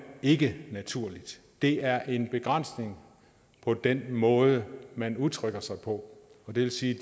ikke naturligt det er en begrænsning for den måde man udtrykker sig på og det vil sige